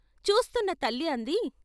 చూస్తున్న తల్లి అంది.